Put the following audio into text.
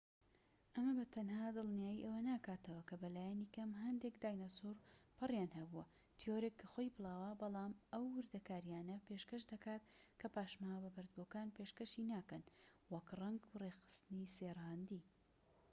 ئەمە بە تەنها دڵنیای ئەوە ناکاتەوە کە بەلایەنی کەم هەندێک داینەسور پەڕیان هەبووە تیۆرێک کە خۆی بڵاوە بەڵام ئەو وردەکاریانە پێشکەش دەکات کە پاشماوە بە بەردبووەکان پێشکەشی ناکەن وەک ڕەنگ و ڕێکخستنی سێ ڕەهەندی